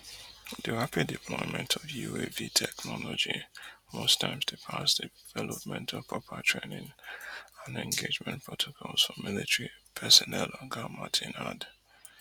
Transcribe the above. di rapid deployment of uav technology most times dey pass development of proper training and engagement protocols for military personnel oga martin add